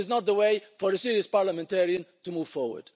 This is not the way for a serious parliamentarian to move forward.